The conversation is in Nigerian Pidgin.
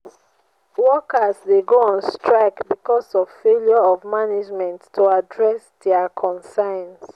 workers dey go on strike because of failure of management to address dia concerns.